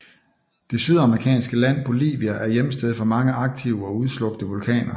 Det sydamerikanske land Bolivia er hjemsted for mange aktive og udslukte vulkaner